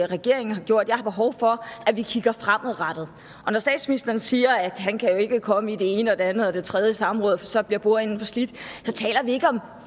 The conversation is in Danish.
regeringen har gjort jeg har behov for at vi kigger fremad og når statsministeren siger at han ikke kan komme i det ene det andet og det tredje samråd for så bliver bordenden for slidt så taler vi ikke om